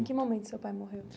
Em que momento seu pai morreu?